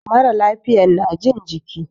Mara lafiyan na jin jiki.